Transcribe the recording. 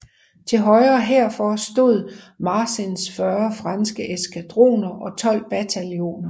Til højre herfor stod Marsins 40 franske eskadroner og 12 bataljoner